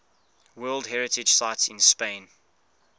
world heritage sites in spain